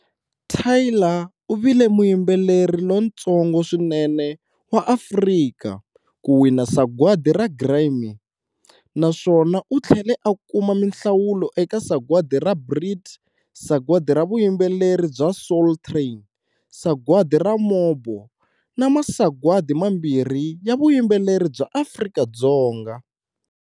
Tyla u vile muyimbeleri lontsongo swinene wa Afrika ku wina Sagwadi ra Grammy, naswona u tlhele a kuma minhlawulo eka Sagwadi ra BRIT, sagwadi ra vuyimbeleri bya Soul Train, sagwadi ra MOBO, na masagwadi mambirhi ya vuyimbeleri bya Afrika-Dzonga.